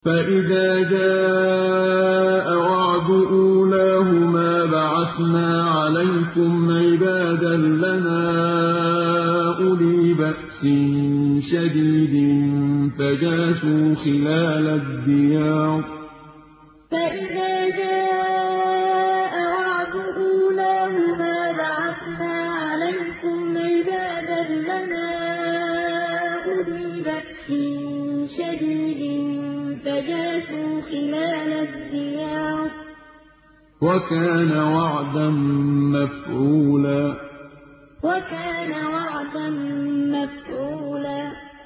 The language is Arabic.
فَإِذَا جَاءَ وَعْدُ أُولَاهُمَا بَعَثْنَا عَلَيْكُمْ عِبَادًا لَّنَا أُولِي بَأْسٍ شَدِيدٍ فَجَاسُوا خِلَالَ الدِّيَارِ ۚ وَكَانَ وَعْدًا مَّفْعُولًا فَإِذَا جَاءَ وَعْدُ أُولَاهُمَا بَعَثْنَا عَلَيْكُمْ عِبَادًا لَّنَا أُولِي بَأْسٍ شَدِيدٍ فَجَاسُوا خِلَالَ الدِّيَارِ ۚ وَكَانَ وَعْدًا مَّفْعُولًا